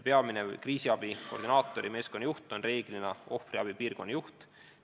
Peamine kriisiabi koordineeriva meeskonna juht on reeglina ohvriabi piirkonnajuht.